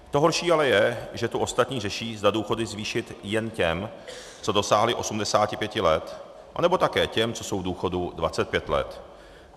To horší ale je, že tu ostatní řeší, zda důchody zvýšit jen těm, co dosáhli 85 let, anebo také těm, co jsou v důchodu 25 let.